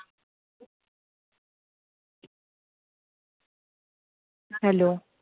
Hello